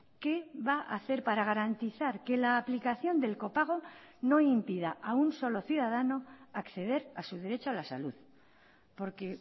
qué va a hacer para garantizar que la aplicación del copago no impida a un solo ciudadano a acceder a su derecho a la salud porque